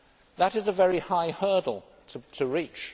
That is a very high hurdle to reach.